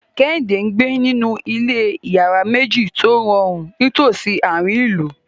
Kehinde ń gbé nínú ilé ìyàrá méjì tó rọrùn nítòsí àárín ìlú.